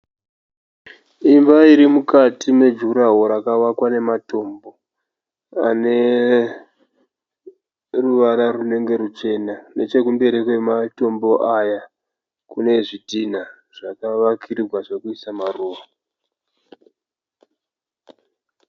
Imba iri mukati mejuraho rakavakwa nematombo, aneruvara runenge ruchena. Nechekumberi kwematombo aya kune zvitinha zvakavakirigwa zvekuisa maruva.